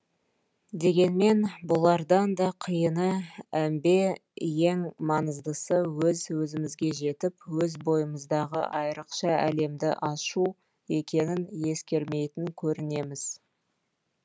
дегенмен бұлардан да қиыны әмбе ең маңыздысы өз өзімізге жетіп өз бойымыздағы айрықша әлемді ашу екенін ескермейтін көрінеміз